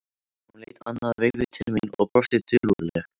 Hún leit annað veifið til mín og brosti dulúðugt.